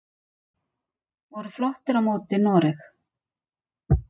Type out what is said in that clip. Voru flottir á móti noreg!